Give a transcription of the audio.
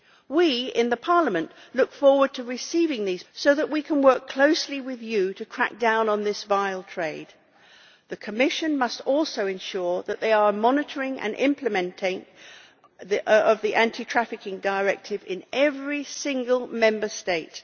We in Parliament look forward to receiving these proposals so that we can work closely with you to crack down on this vile trade. The Commission must also ensure that they are monitoring and implementing the Anti trafficking Directive in every single Member State.